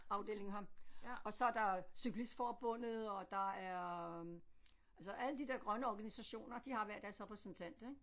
Afdeling her og så er der cyklistforbundet og der er altså alle de der grønne organisationer de har hver deres repræsentant ik